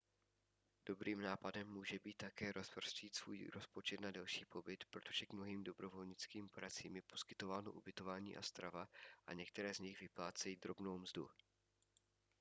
dobrým nápadem může být také rozprostřít svůj rozpočet na delší pobyt protože k mnohým dobrovolnickým pracím je poskytováno ubytování a strava a některé z nich vyplácejí drobnou mzdu